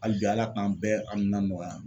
Hali bi ALA k'an bɛɛ a hamina nɔgɔya.